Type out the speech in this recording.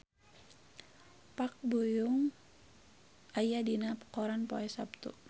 Park Bo Yung aya dina koran poe Saptu